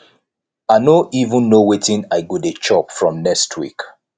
i no even know wetin i go dey chop from next week